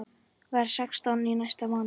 Verð sextán í næsta mánuði.